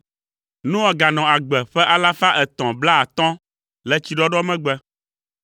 Noa ganɔ agbe ƒe alafa etɔ̃ blaatɔ̃ (350) le tsiɖɔɖɔ megbe.